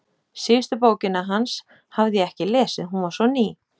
Síðustu bókina hans hafði ég ekki lesið, hún var svo ný.